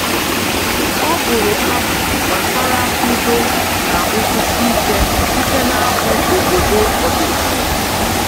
Ọ bụrụ abụ gbasara udo na nkwụsi ike site n'abụ obodo ọdịnala